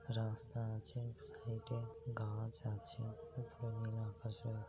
রাস্তা আছে সাইড এ গাছ আছে উপর মেলা আকাশ ও আ --